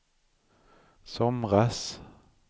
somras